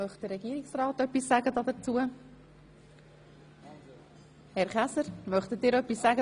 Wünscht sich Regierungsrat Käser dazu zu äussern?